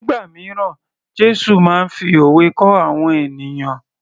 Nígbà míràn Jésù máa ń fi òwe kọ́ àwọn ènìyàn